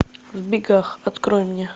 в бегах открой мне